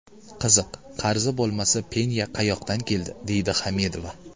Qiziq, qarzi bo‘lmasa, penya qayoqdan keldi?”, deydi Hamidova.